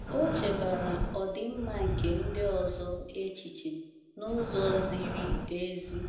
O chebaara ọdịmma nke ndị ọzọ echiche n’ụzọ ziri ezi.